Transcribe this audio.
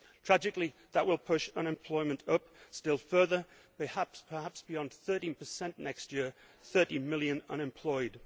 Tragically, that will push unemployment up still further, perhaps beyond 13 next year, with 30 million unemployed.